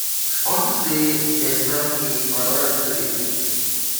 unto say dey sack me my wife no dey greet me.